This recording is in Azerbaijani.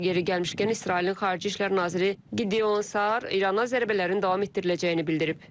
Yeri gəlmişkən İsrailin Xarici İşlər naziri Gideon Sar İrana zərbələrin davam etdiriləcəyini bildirib.